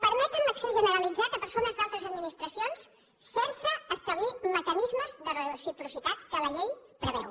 permeten l’accés generalitzat a persones d’altres administracions sense establir mecanismes de reciprocitat que la llei en preveu